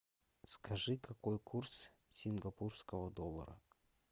скажи какой курс сингапурского доллара